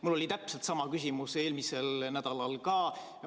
Mul oli täpselt sama küsimus eelmisel nädalal ka.